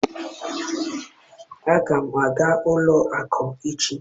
aga m aga ụlọ akụ echi.